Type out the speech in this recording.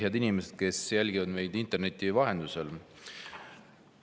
Head inimesed, kes jälgivad meid interneti vahendusel!